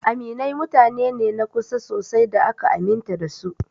Aminai mutane ne na kusa sosai da aka aminta da su.